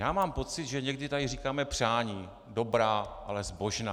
Já mám pocit, že někdy tady říkáme přání - dobrá, ale zbožná.